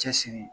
Cɛsiri